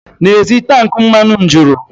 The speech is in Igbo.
N'ezie, tank mmanụ m juru